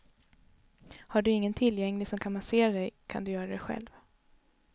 Har du ingen tillgänglig som kan massera dig kan du göra det själv.